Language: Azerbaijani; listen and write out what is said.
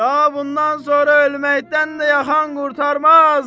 Daha bundan sonra ölməkdən də yaxan qurtarmaz!